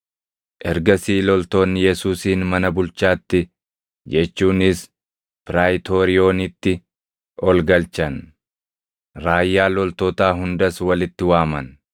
Ergasii loltoonni Yesuusin mana bulchaatti, jechuunis Piraayitooriyoonitti ol galchan; raayyaa loltootaa hundas walitti waaman.